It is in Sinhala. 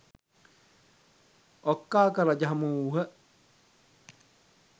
ඔක්කාක රජ හමුවූහ.